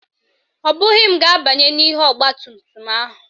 Ọ bụghị m ga-abanye n'ihu ọgbatumtum ahụ